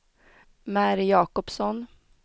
Mary Jacobsson